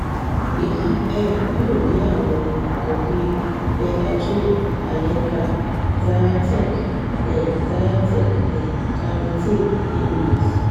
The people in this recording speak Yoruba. èyí um yóò ní àwọn òògùn bíi benadryl allegra zyrtec um zyrtec um claritin aerius